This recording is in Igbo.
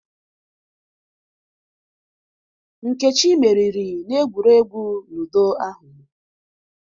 Nkechị meriri n'egwuregwu Ludo ahu